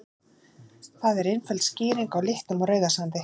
Það er einföld skýring á litnum á Rauðasandi.